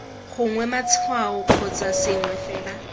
gongwe matshwao kgotsa sengwe fela